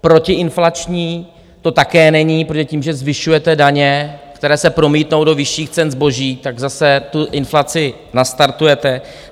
Protiinflační to také není, protože tím, že zvyšujete daně, které se promítnou do vyšších cen zboží, tak zase tu inflaci nastartujete.